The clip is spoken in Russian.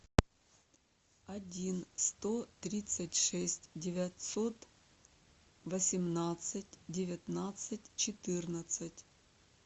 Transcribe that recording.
один сто тридцать шесть девятьсот восемнадцать девятнадцать четырнадцать